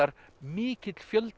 mikill fjöldi